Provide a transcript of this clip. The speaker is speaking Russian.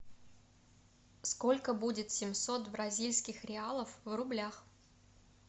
сколько будет семьсот бразильских реалов в рублях